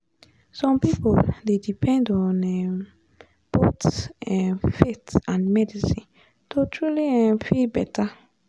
some people dey depend on um both um faith and medicine to truly um feel better.